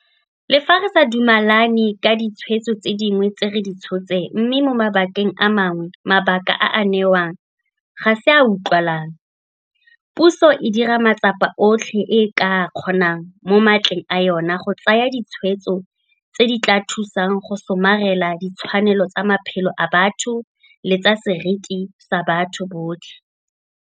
Le fa re sa dumelane ka ditshwetso tse dingwe tse re di tshotseng mme mo mabakeng a mangwe mabaka a a newang ga se a a utlwalang, puso e dira matsapa otlhe a e ka a kgonang mo matleng a yona go tsaya ditshwetso tse di tla thusang go somarela ditshwanelo tsa matshelo a batho le tsa seriti sa batho botlhe.